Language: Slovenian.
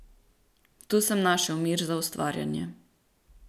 Tu sem našel mir za ustvarjanje.